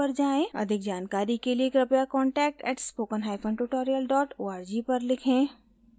अधिक जानकारी के लिए कृपया contact @spokentutorial org पर लिखें